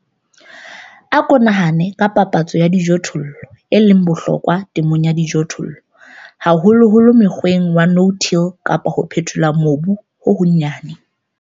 Ako nahane ka phapantsho ya dijothollo e leng bohlokwa temong ya dijothollo - haholoholo mokgweng wa no-till kapa wa ho phethola mobu ho honyane.